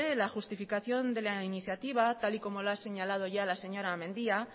la justificación de la iniciativa tal y como lo ha señalado ya la señora mendia